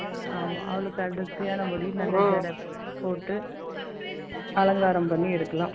ஆமா, அவளுக்கு அடர்த்தியான முடி. போட்டு, அலங்காரம் பண்ணி எடுக்கலாம்